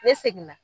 Ne seginna